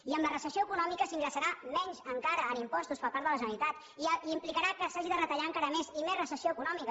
i amb la recessió econòmica s’ingressarà menys encara en impostos per part de la generalitat i implicarà que s’hagi de retallar encara més i més recessió econòmica